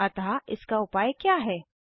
अतः इसका उपाय क्या है160